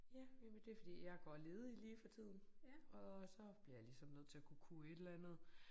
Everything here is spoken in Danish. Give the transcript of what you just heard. Ja jamen det fordi jeg går ledig lige for tiden og så bliver jeg ligesom nødt til at kunne kunne et eller andet